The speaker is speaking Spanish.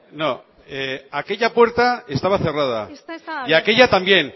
no aquella puerta estaba cerrada y aquella puerta también